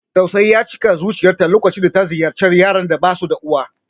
Tausayi ya cika zuciyarta lokacin da ta ziyarci yaran da basu da uwa.